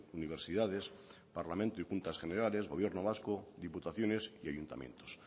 universidades parlamento y juntas generales gobierno vasco diputaciones y ayuntamientos